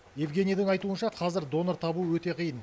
евгенийдің айтуынша қазір донор табу өте қиын